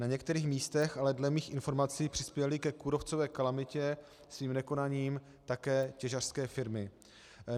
Na některých místech ale dle mých informací přispěly ke kůrovcové kalamitě svým nekonáním také těžařské firmy.